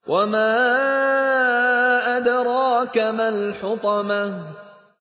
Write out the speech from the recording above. وَمَا أَدْرَاكَ مَا الْحُطَمَةُ